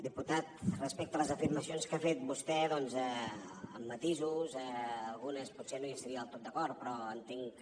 diputat respecte a les afirmacions que ha fet vostè doncs amb matisos en algunes potser no hi estaria del tot d’acord però entenc que